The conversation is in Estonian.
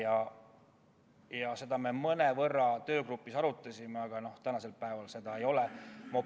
Seda teemat me töögrupis mõnevõrra arutasime, aga tänasel päeval neid ette nähtud ei ole.